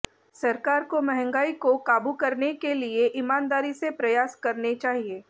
सरकार को महंगाई को काबू करने के लिए ईमानदारी से प्रयास करने चाहिए